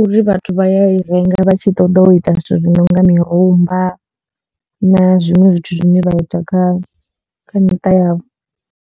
uri vhathu vha ya i renga vha tshi ṱoḓa u ita zwithu zwi nonga mirumba na zwiṅwe zwithu zwine vha ita kha miṱa yavho.